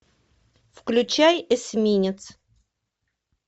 включай эсминец